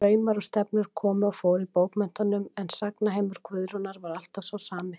Straumar og stefnur komu og fóru í bókmenntunum en sagnaheimur Guðrúnar var alltaf sá sami.